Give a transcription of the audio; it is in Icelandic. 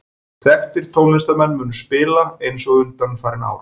Þekktir tónlistarmenn munu spila, eins og undanfarin ár.